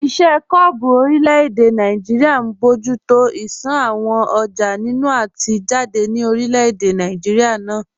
Iṣẹ́ kọ́ọ̀bù orílẹ̀-èdè Nàìjíríà ń bójú tó ìṣàn àwọn ọjà nínú àti jáde ní orílẹ̀-èdè náà